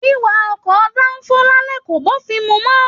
Wíwá ọkọ danfo l'alẹ ko b'ofin mú mọ.